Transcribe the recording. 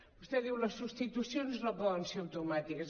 vostè diu les substitucions no poden ser automàtiques